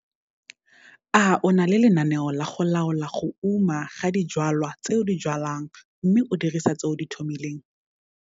A o na le lenaneo la go laola go uma ga dijwalwa tse o di jwalang mme o dirisa tse o di tlhomileng?